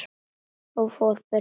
Og fór burt, þessi skepna.